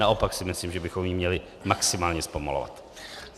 Naopak si myslím, že bychom ji měli maximálně zpomalovat.